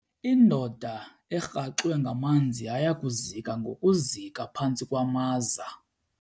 Indoda erhaxwe ngamanzi yaya kuzika ngokuzika phantsi kwamaza.